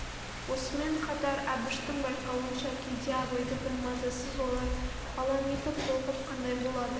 осымен қатар әбіштің байқауынша кейде абайды бір мазасыз ойлар алаң етіп толқып қандай болады